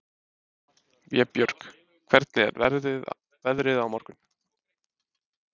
Vébjörg, hvernig er veðrið á morgun?